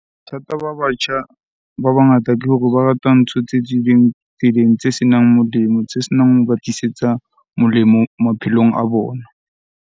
Bothata ba batjha ba bangata ke hore ba rata ntho tse tswileng tseleng, tse senang molemo, tse senang hoba tlisetsa molemo maphelong a bona.